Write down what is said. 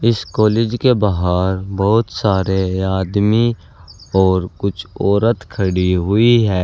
इस कॉलेज के बाहर बहुत सारे आदमी और कुछ औरत खड़ी हुई है।